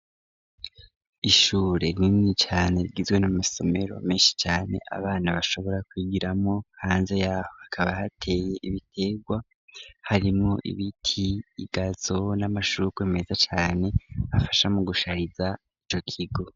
Ishure nini cane rgizwe n'amasomero menshi cane abana bashobora kwigiramo hanze yaho hakaba hateye ibiterwa harimwo ibiti igazo n'amashurwe meza cane afasha mu gushariza ico kigo.